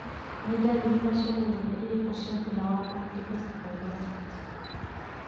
Nĩ ndariri na cionereria irĩkũ cia thĩna wa Multiple sclerosis?